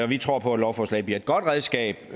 vi tror på at lovforslaget bliver et godt redskab